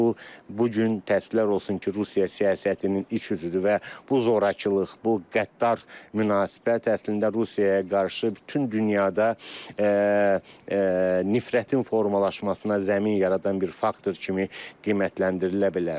Bu, bu gün təəssüflər olsun ki, Rusiya siyasətinin iç üzüdür və bu zorakılıq, bu qəddar münasibət əslində Rusiyaya qarşı bütün dünyada nifrətin formalaşmasına zəmin yaradan bir faktor kimi qiymətləndirilə bilər.